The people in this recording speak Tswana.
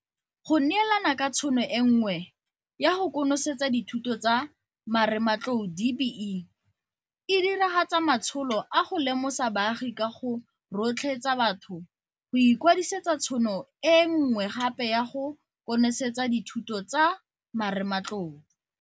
Go neelana ka tšhono e nngwe ya go konosetsa dithuto tsa marematlou DBE e diragatsa matsholo a go lemosa baagi ka go rotloetsa batho go ikwadisetsa tšhono e nngwe gape ya go konosetsa dithuto tsa marematlou.